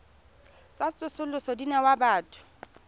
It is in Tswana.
tsa tsosoloso di newa batho